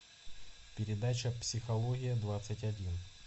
передача психология двадцать один